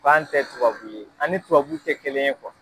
K'an tɛ tubabu ye ani tubabu tɛ kelen ye